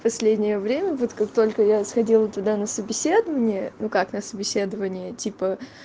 последнее время вот как только я сходила туда на собеседование ну как на собеседование типа